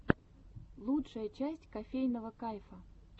лучшая часть кофейного кайфа